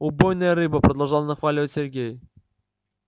убойная рыба продолжал нахваливать сергей